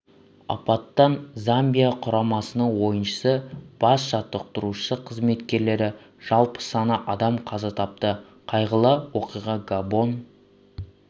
апаттан замбия құрамасының ойыншысы бас жаттықтырушысы қызметкерлері жалпы саны адам қаза тапты қайғылы оқиға габон